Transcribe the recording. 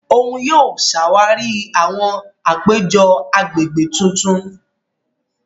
Òun yóò ṣàwarí àwọn àpéjọ agbègbè tuntun.